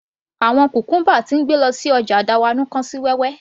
Àwọn cucumber tí ń gbé lọ sí ọjà dawanau kán sí wẹ́wẹ́